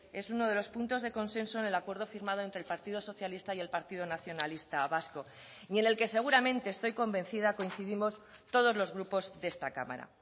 es uno de los puntos de consenso en el acuerdo firmado entre el partido socialista y el partido nacionalista vasco y en el que seguramente estoy convencida coincidimos todos los grupos de esta cámara